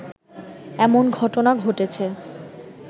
এমন ঘটনা ঘটেছে